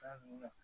Taa nunnu na